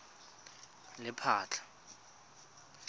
lephatla